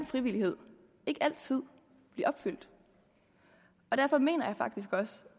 frivillighed ikke altid blive opfyldt og derfor mener jeg faktisk også